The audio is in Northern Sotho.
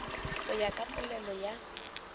go ya ka polelo ya